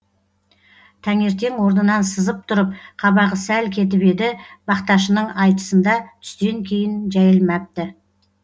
тәңертең орнынан сызып тұрып қабағы сәл кетіп еді бақташының айтысында түстен кейін жәйілмәпті